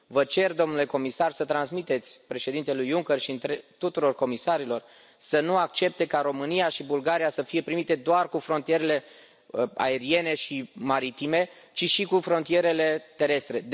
Vă cer, domnule comisar, să transmiteți președintelui Juncker și tuturor comisarilor să nu accepte ca România și Bulgaria să fie primite doar cu frontierele aeriene și maritime, ci și cu frontierele terestre.